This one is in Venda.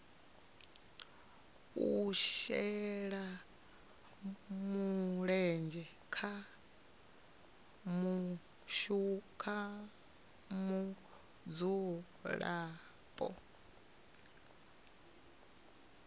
u shela mulenzhe ha mudzulapo